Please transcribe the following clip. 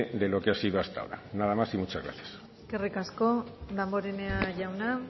de lo que ha sido hasta ahora nada más y muchas gracias eskerrik asko damborenea jauna